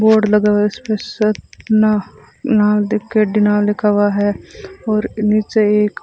board लगा हुआ है उस पे लिखा हुआ है और नीचे एक --